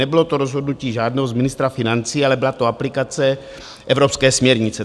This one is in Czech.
Nebylo to rozhodnutí žádného z ministra financí, ale byla to aplikace evropské směrnice.